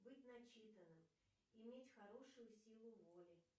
быть начитанным иметь хорошую силу воли